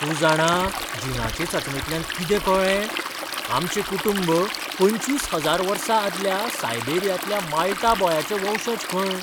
तूं जाणा जिनाचे चांचणेंतल्यान कितें कळ्ळें? आमचें कुटूंब पंचवीस हजार वर्सां आदल्या सायबेरियांतल्या माल्टा बॉयाचें वंशज खंय!